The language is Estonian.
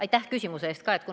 Aitäh küsimuse eest ka!